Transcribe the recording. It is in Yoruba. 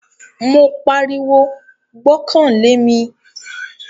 Mo pariwo, "gbọ́kàn lé mi"